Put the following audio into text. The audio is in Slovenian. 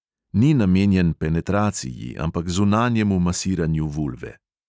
Ni namenjen penetraciji, ampak zunanjemu masiranju vulve.